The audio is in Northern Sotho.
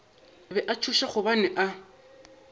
be a tšhoša gobane a